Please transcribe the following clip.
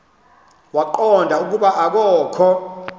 waqonda ukuba akokho